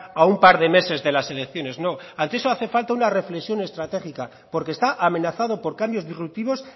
a un par de meses de las elecciones no ante eso hace falta una reflexión estratégica porque está amenazado por cambios disruptivos